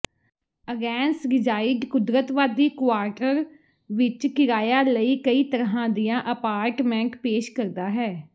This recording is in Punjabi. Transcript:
ਐਗੇੈਂਸ ਰਿਜਾਈਡ ਕੁਦਰਤਵਾਦੀ ਕੁਆਰਟਰ ਵਿਚ ਕਿਰਾਇਆ ਲਈ ਕਈ ਤਰ੍ਹਾਂ ਦੀਆਂ ਅਪਾਰਟਮੈਂਟ ਪੇਸ਼ ਕਰਦਾ ਹੈ